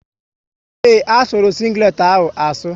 Ee, asuru sịnglet ahụ asu